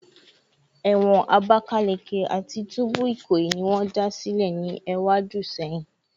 Ewon Abakaleke ati tubu Ikoyi ni won da sile ni ewadun seyin